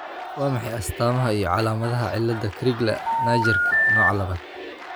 Waa maxay astamaha iyo calaamadaha cilada Crigler Najjarka, nooca labaad?